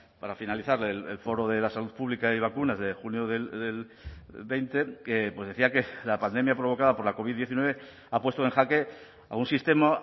para finalizar el foro de la salud pública y de vacunas de junio del veinte que decía que la pandemia provocada por la covid diecinueve ha puesto en jaque a un sistema